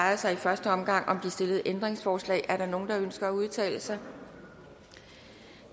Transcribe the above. sig i første omgang om de stillede ændringsforslag er der nogen der ønsker at udtale sig